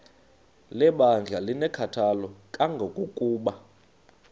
lebandla linenkathalo kangangokuba